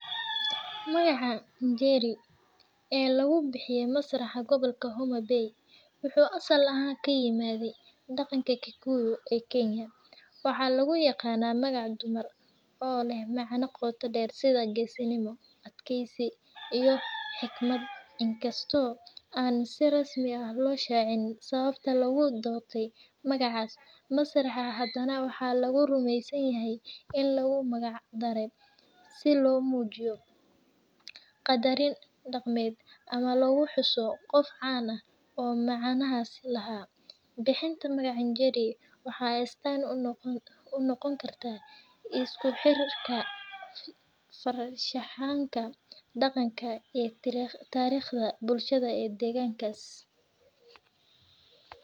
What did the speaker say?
Magaca "Njeri" ee lagu bixiyay masraxa gobolka Homa Bay wuxuu asal ahaan ka yimid dhaqanka Kikuyu ee Kenya, waxaana loo yaqaannaa magac dumar oo leh macne qoto dheer sida geesinimo, adkaysi, iyo xigmad. Inkasta oo aan si rasmi ah loo shaacin sababta loogu doortay magacaas masraxa, haddana waxaa la rumeysan yahay in loogu magac daray si loo muujiyo qadarin dhaqameed ama lagu xuso qof caan ah oo magacaas lahaa. Bixinta magaca "Njeri" waxay astaan u noqon kartaa isku xirka farshaxanka, dhaqanka iyo taariikhda bulshada deegaankaas.